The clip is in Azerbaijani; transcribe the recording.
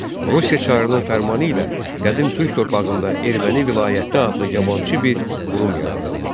Rusiya çarının fərmanı ilə qədim türk torpağında Erməni Vilayəti adlı yabançı bir qurum yaradıldı.